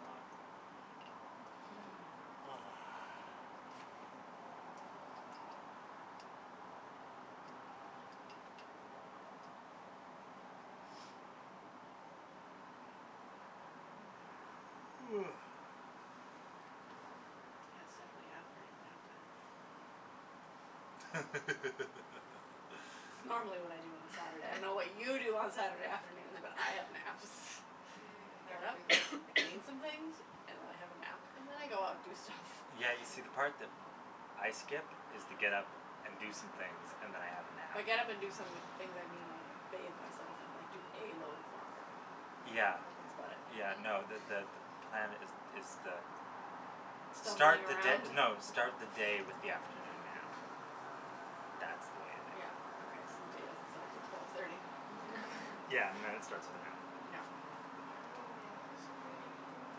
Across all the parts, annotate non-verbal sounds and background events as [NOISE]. lot. [LAUGHS] [NOISE] [NOISE] Yeah, it's definitely afternoon nap time. It's [LAUGHS] normally what I do on a Saturday. I don't know what you do [LAUGHS] on Saturday afternoons, but have naps. [LAUGHS] Mm, I get never up, Mm. do that. I clean some things [NOISE] and I have a nap and then I go out and do stuff. Yeah, you Nice. see, the part that I skip is the get up and do some things and then I have a nap. By get up and do some things, I mean, like, bathe myself and like do a load of laundry, Yeah. that's about it. Yeah, no, the Hmm. the the plan is is the start Stumbling the around? d- no, start the day with the afternoon nap. That's the way to do Yeah, it. okay, so the day doesn't start until twelve thirty? All Yeah, and then it right. [LAUGHS] starts with a nap. [LAUGHS] Yeah. Mm. So many things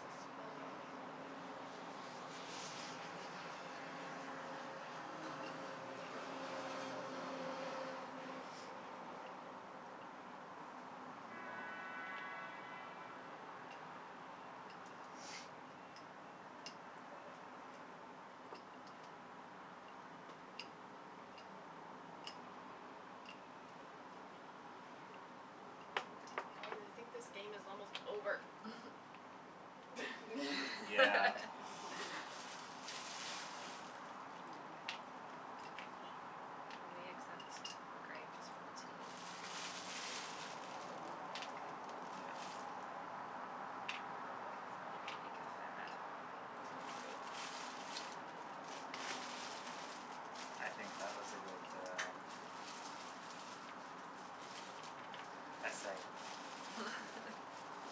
to spell and none of them make sense. Mm. [NOISE] [NOISE] [NOISE] [NOISE] Guys, I think this game is almost over. [NOISE] [LAUGHS] Yeah. [LAUGHS] [LAUGHS] [LAUGHS] Will we accept [INAUDIBLE] with a t? Mhm. Mhm. Okay. Yeah. Cuz I'm [INAUDIBLE] Sounds good. I think that was a good, uh, essay. [LAUGHS]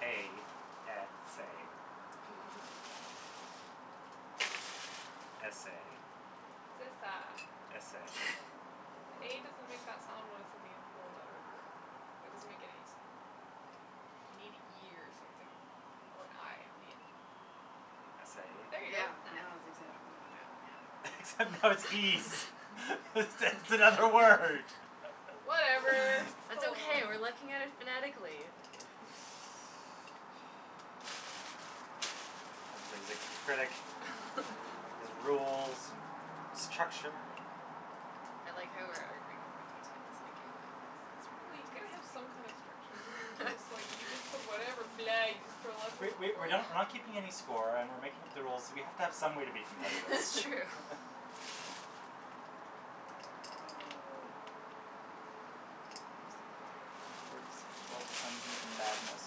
A s a. S a. It's esa. S a. [LAUGHS] A doesn't make that sound when it's at the end of a letter. That doesn't make any sound. You need an e or something or an i on the end. S Yeah. There you a? go. Yeah, That. now it's acceptable. Yeah. Except now it's ees. It's it's another word. Whatever, Whatever, [LAUGHS] [LAUGHS] it's That's still still okay, we're a word. looking at it phonetically. [NOISE] Everybody's a critic. Has [LAUGHS] rules and structure and I like how we're arguing over details in a game like this. It's Well, you pretty gotta have some kind of structure, or it's fantastic. just like you just put [LAUGHS] whatever [LAUGHS] blah, you just throw [NOISE] letters We on the we we're board. not we're not keeping any score and we're making up the rules, so we have to have some way to be competitive. It's true. [LAUGHS] [LAUGHS] [NOISE] What was the word that's pull [INAUDIBLE] madness?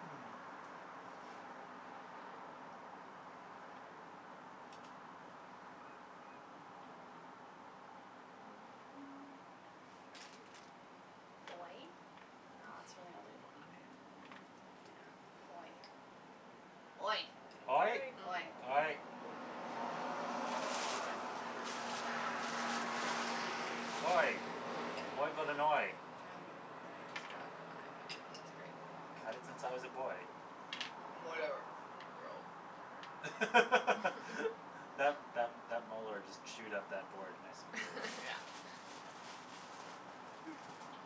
Hmm. [NOISE] [NOISE] Oy? No, that's really only a y. Yeah. Oy. Oy. Oy. Oy. Oy. Mm. Oy. Oy. Oy got an oy. Um then I just got an i back. Great. Had it since I was a boy. [LAUGHS] Whatever. Row. [LAUGHS] That [LAUGHS] that that molar just chewed up that board nice and good. Yeah. [LAUGHS] Hmm.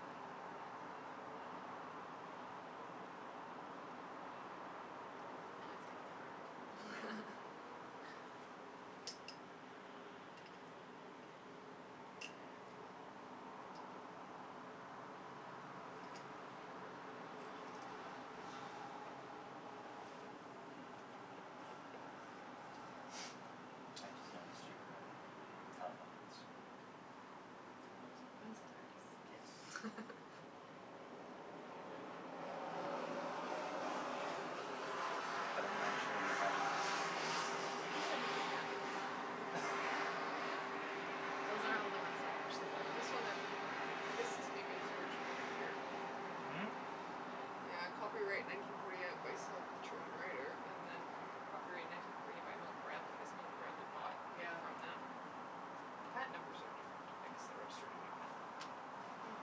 [NOISE] Now it's Yeah. getting hard. [LAUGHS] Hmm. [NOISE] I just noticed your, uh, telephone booths. Back. They're awesome. One's a Yes. tardis. [LAUGHS] But I'm not sure you have enough camera lenses on that These shelf. have different patent numbers on there. [LAUGHS] Those are Oh. all the ones that actually work. This one has a different I guess this maybe is the original maker. Hmm? Yeah, copyright nineteen forty eight by Selchow and Righter and then copyright nineteen forty eight by Milton Bradley. I guess Milton Bradley bought it Yeah. from them. But the patent numbers are different. I guess they registered a new patent. Hmm.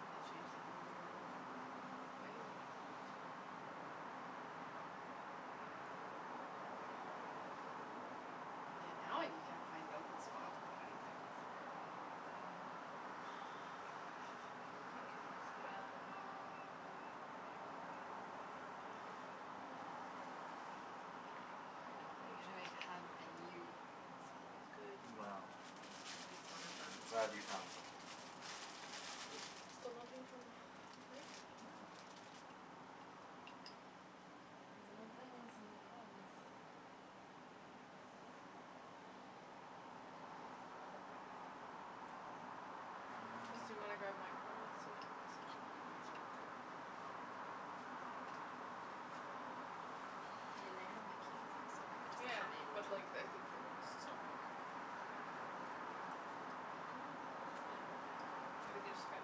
Maybe they changed the rules a little or something. Maybe. Yeah, now you can't find an open spot to put anything, it's a problem. Mhm. You can spell, uh I don't know Okay. I'm what you gonna make could spell. hug and you. Sounds good. Well, At least one of them I'm is glad you wrong. found something. Still nothing from Rick? No. There's no blings and no calls. Just do you want to grab my phone Mm. and see if he messaged me? It's right there. I mean, they have my keys. I assume they would just Yeah, come in but and like, I think they want us to stop talking before [INAUDIBLE] Maybe they just got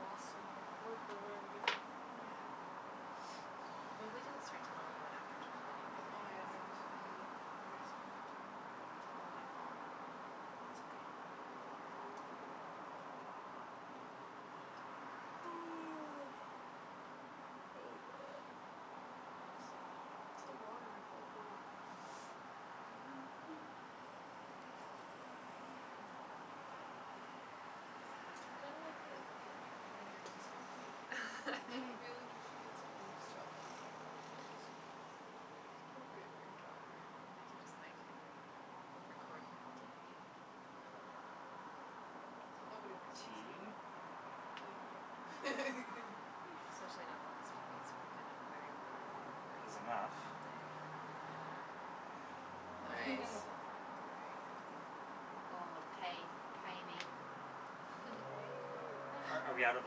lost in their work or whatever they do. Hmm. Yeah. [NOISE] Well, we didn't start till a little bit after twelve Oh, anyway, yeah, right? maybe, so Mm. maybe it's not enough time [NOISE] yet. It's all my fault. [NOISE] [NOISE] Oh, man [INAUDIBLE] So warm and full of food. [LAUGHS] [NOISE] I kinda like the the microphone earrings. It's kinda cute. I feel like you should get [LAUGHS] [LAUGHS] some and just chop them and make them into earrings. It's appropriate for your job, right? They can just, like, record my whole day. Don't do that. Nobody wants to see Tea. that, No. not even you. Especially not [LAUGHS] the last few days when I've been in a very loud Is room enough. all Mhm. day. Nice. Hmm. Very good. Going with tae, tae me. [LAUGHS] Are are we out of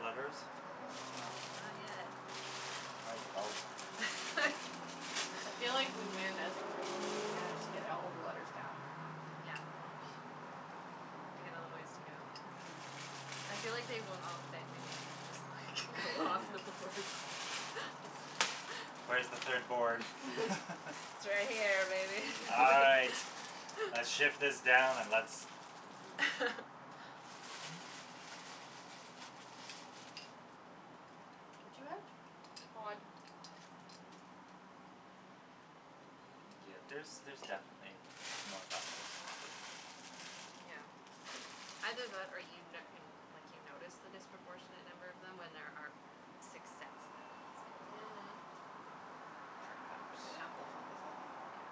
letters? No. No? No. Not yet. Like about [LAUGHS] I feel like [LAUGHS] we win as a group if we manage to get all of the letters down. Yeah. We got a little ways to go. Mhm. I feel like they won't all fit in the end, just like go off the boards. [LAUGHS] [LAUGHS] Where's the third board? [LAUGHS] [LAUGHS] It's right here, baby. All right, [LAUGHS] let's shift [LAUGHS] this down and let's [LAUGHS] What do you have? Odd. Odd. Oh. Yeah, there's there's definitely m- more vowels hidden. Yeah. Either that, or you n- you n- like, you notice the disproportionate number of them when there are six sets of e's in there. Mhm. Perhaps. It amplifies it, yeah. Yeah.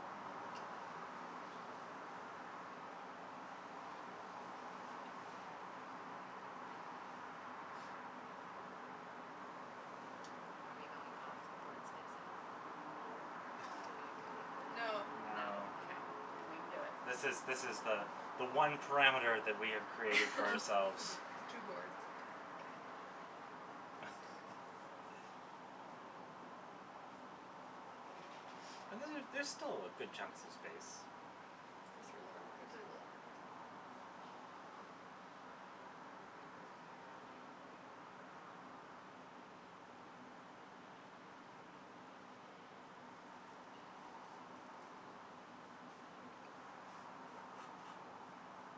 [NOISE] Are we going off the board spaces? Do we [LAUGHS] agree? No. No. No? No. No, I Okay. don't think we can do it. This is this is the the one parameter that we have created for ourselves. [LAUGHS] The two boards. [LAUGHS] Okay, well, that wouldn't work. [LAUGHS] Um And then there's still good chunks of space. For three letter For words. three letter words. [NOISE]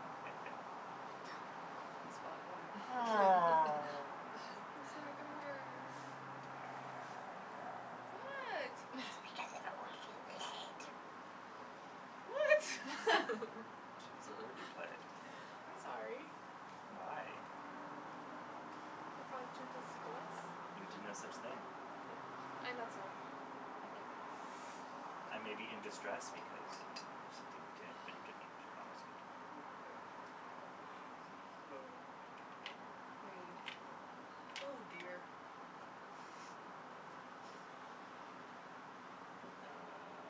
[LAUGHS] Well, he spotted one. [LAUGHS] Oh. I'm sorry, I got a [LAUGHS] word. [LAUGHS] What? [LAUGHS] [NOISE] What? [LAUGHS] It's because of a word you [LAUGHS] played. [LAUGHS] I'm sorry. Why? I caused you distress. You did no such thing. Okay, I'm not sorry. Thank you. I may be in distress because of something you did, but you didn't cause it. Okay. Okay. Rude. [NOISE] Oh, dear. Duh.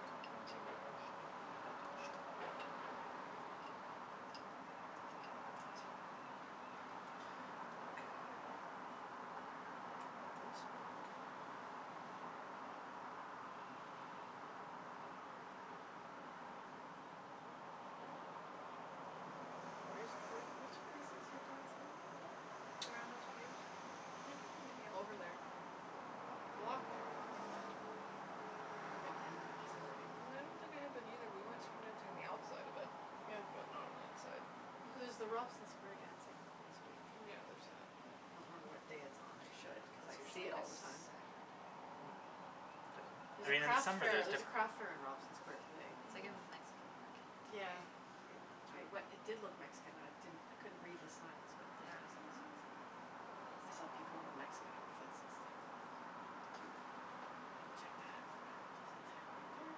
[INAUDIBLE] Okay. How to make this work. Where's where's where's the places Mm. you're dancing at today? Around [INAUDIBLE] In Over Yaletown. there. I've walked there. But Mm. I've never been in that facility. I don't think I have been, either. We went swing dancing on the outside of it, Yeah. but not on the inside. Here's the Robson square dancing once a week. Yeah, there's that. I don't know what day it's on, I should, cuz It's I see usually it a S- all the time. Saturday. Hmm. Yeah. I There's a mean, in crafts some fair, way it's there's a crafts fair differen- in Robson square yeah. today. It's like a Mhm. Mexican market Yeah. today. Yeah. I Cute. we- it did look Mexican I didn't I couldn't read the signs, but it Yeah, makes no, sense. it's Mhm. like a I saw people Mexican in a Mexican market. outfits and stuff. Cute. Maybe I'll check that out since I'm right there.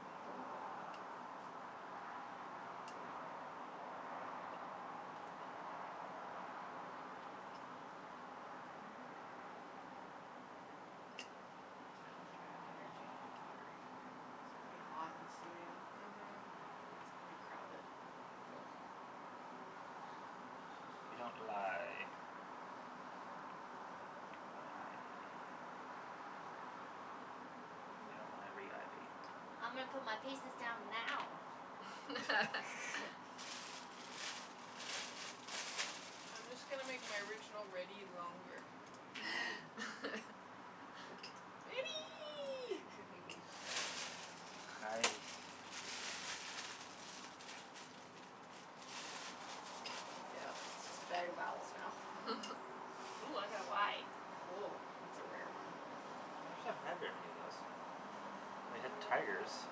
[NOISE] [NOISE] I don't think I have energy to do pottery today. It'll be Mm. hot and [INAUDIBLE] Mhm. And [INAUDIBLE] crowded [NOISE] You don't lie about ivy. You know ivy, ivy. I'm gonna put my pieces down now. [LAUGHS] [LAUGHS] [LAUGHS] I'm just gonna make my original ready longer. [LAUGHS] [LAUGHS] Ready! [LAUGHS] Hi. Yeah, it's a better vowels now. [LAUGHS] Ooh, I got a y. Oh, that's a rare one. I actually haven't had very many of those. Mm. I We had wonder why. tigers.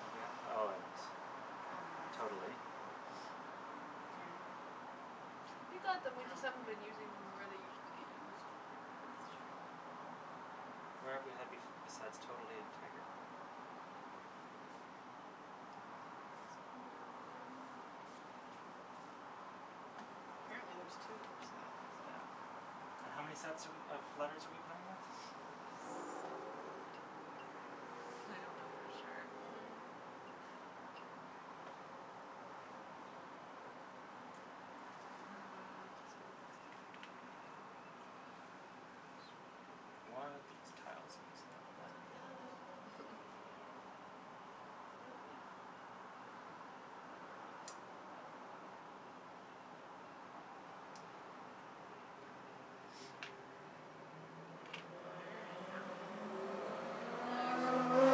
Have we had Oh, and totally. Yeah. Yeah. We got them, we just Oh, haven't been using them yeah where they usually get [INAUDIBLE] used. It's true. Where have we had bef- besides totally and tiger? Don't think there is one. [NOISE] Hmm. Apparently there's two per set, so. Yeah. And how many sets are we of letters are we playing with? Several. I don't know for sure. Mhm. Mm. This kinda looks differently. Yes. One of these tiles is not like The the other. other. Yeah. [LAUGHS] Completely. Okay. I'm gonna make odour and owee. Nice.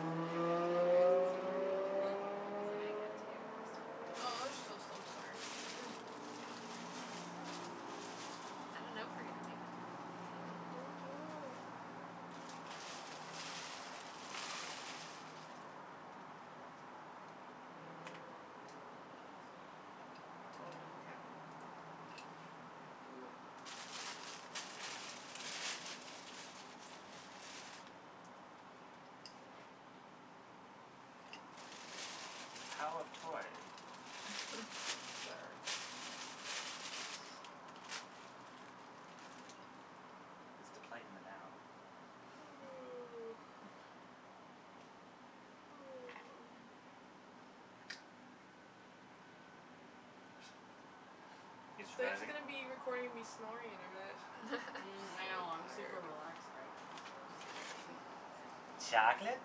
Is the bag empty or is it Hmm? still Is the bag empty or are there still Oh, there's letters? still some. Sorry. Hmm. I don't know if we're gonna make it through all of these, man. Don't know. Mm. Toe and tao. Cool. [NOISE] The tao of toy. Sure. [LAUGHS] Is the play in the now. [LAUGHS] [NOISE] [LAUGHS] You They're just surviving? gonna be recording me snoring in a minute. Mm. I So know. I'm [LAUGHS] super tired. relaxed right now. So sleepy. [INAUDIBLE] It's like Chocolate?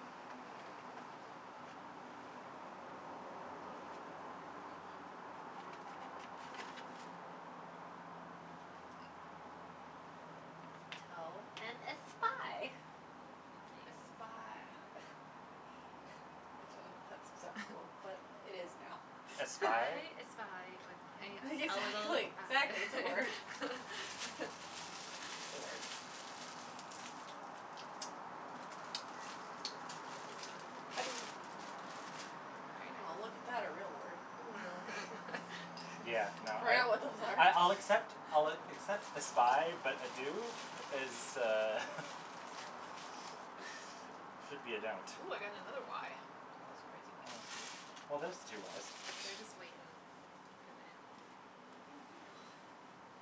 [INAUDIBLE] Tao and a spy. A Nice. spy. [LAUGHS] I don't know if that's exact [INAUDIBLE] but it is [LAUGHS] now. Espie? I espy when [LAUGHS] my a little Exactly, exactly, it's a eye. word. [LAUGHS] It's [LAUGHS] a word. [NOISE] I do. Oh, look at Very nice. that. A real word. I know. [LAUGHS] Yeah, [LAUGHS] no, I I I'll accept [INAUDIBLE] I'll accept espie, but ado is uh should be a don't. Ooh, I got another y. That's crazy. Oh, well, there's the two y's. They're just waiting to put the end in. Mhm. Oh.